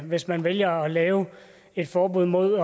hvis man vælger at lave et forbud mod